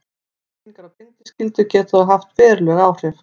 Breytingar á bindiskyldu geta þó haft veruleg áhrif.